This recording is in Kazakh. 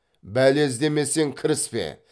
бәле іздемесең кіріспе